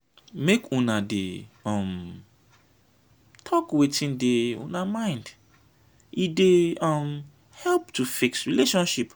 make una dey um talk wetin dey una mind e dey um help to fix relationship.